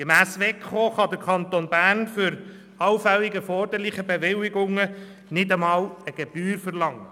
Gemäss Wettbewerbskommission (WEKO) kann der Kanton Bern für allfällig erforderliche Bewilligungen nicht einmal eine Gebühr verlangen.